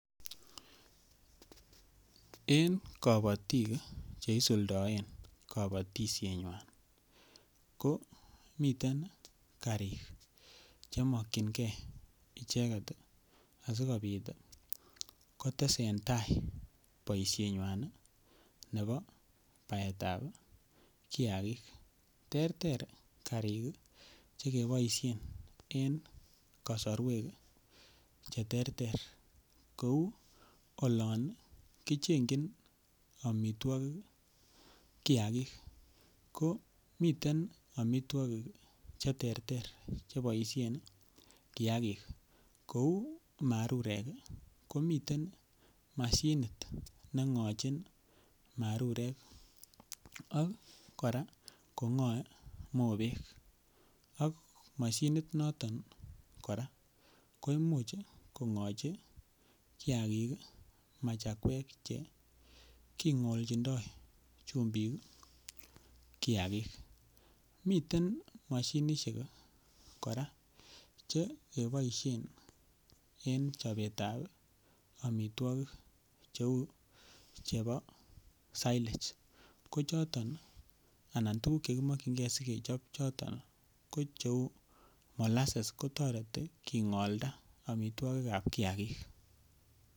En kapatik cheisuldaen boisienyuan, komiten karik chemokienge asiko sundaen boisiet nyuan nebo baetab kiagik. Terter karik ih chekiboisien en kasaruek cheterter kouu olan kichengchin amituakik kiakig komiten amituakik cheterter cheboisien kiagik. Kou marurek komiten moshinit neng'achin marurek ak kora kong'ae mobek ak moshinit noton kong'achin machakuek, king'olchindo chumbik ih kiagik. Miten mashinisiek kora chekiboisien en chobetab amituakik cheuu chebo silage. Ko choton anan tuguk chekimakkyinge sikechob choton ko tuguk cheuu molasses kotareti king'olchinda amituakikab kiagik